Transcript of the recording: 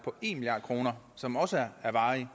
en milliard kroner som også er varig